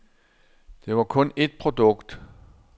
Det var kun et produkt.